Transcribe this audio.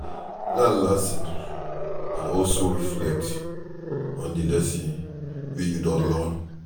Learn lesson and also reflect on di lessons wey you don learn